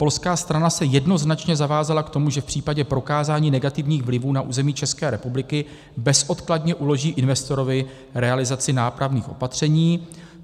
Polská strana se jednoznačně zavázala k tomu, že v případě prokázání negativních vlivů na území České republiky bezodkladně uloží investorovi realizaci nápravných opatření.